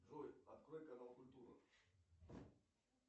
джой открой канал культура